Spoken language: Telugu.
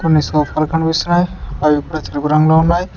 కొన్ని సోఫాలు కనిపిస్తున్నాయ్ అవి తెలుపు రంగులో ఉన్నాయ్.